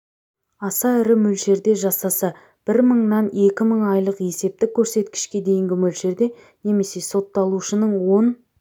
аса ірі мөлшерде жасаса бір мыңнан екі мың айлық есептік көрсеткішке дейінгі мөлшерде немесе сотталушының он